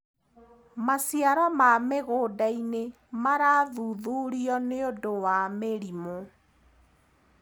Maciaro ma mĩgũndainĩ marathuthurio nĩũndũ wa mĩrimũ.